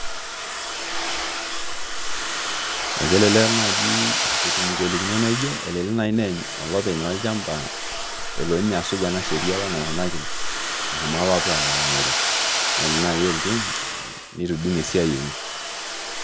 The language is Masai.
Ekelelek naaji etum ngolikinot naa ujio ekelelek naai neeny olopeny olchamba esuj naai ina sheria apa naikunakini nashomo apa aaning'okino nelelek naai elotu nitudung' esiai enye